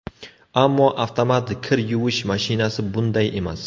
Ammo avtomat kir yuvish mashinasi bunday emas.